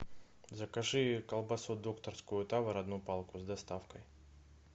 закажи колбасу докторскую тавр одну палку с доставкой